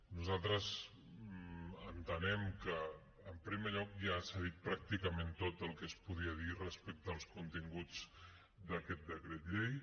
nosaltres entenem que en primer lloc ja s’ha dit pràcticament tot el que es podia dir respecte als continguts d’aquest decret llei